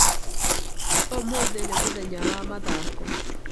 Ũmũthĩ nĩ mũthenya wa mathako.